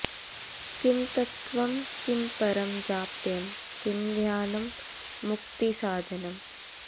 किं तत्त्वं किं परं जाप्यं किं ध्यानं मुक्तिसाधनम्